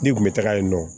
N'i kun bɛ taga yen nɔ